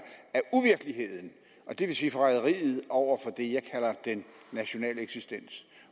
af vil sige forræderiet over for det jeg kalder den nationale eksistens